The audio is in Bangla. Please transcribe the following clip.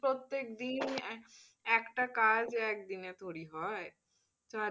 প্রত্যেকদিন একটা কাজ একদিনে থরি হয়,